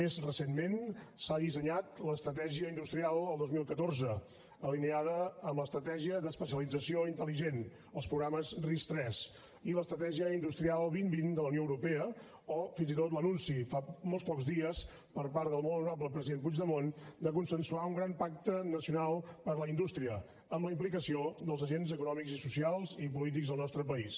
més recentment s’ha dissenyat l’estratègia industrial del dos mil catorze alineada amb l’estratègia d’especialització intel·ligent els programes ris3 i l’estratègia industrial dos mil vint de la unió europea o fins i tot l’anunci fa molt pocs dies per part del molt honorable president puigdemont de consensuar un gran pacte nacional per la indústria amb la implicació dels agents econòmics i socials i polítics dels nostre país